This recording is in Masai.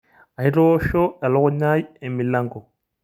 Aitoosho elukunya ai emilango.